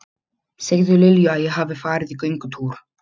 Segðu Lilju að ég hafi farið í göngutúr.